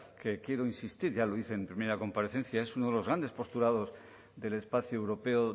que quiero insistir ya lo hice en mi primera comparecencia es uno de los grandes postulados del espacio europeo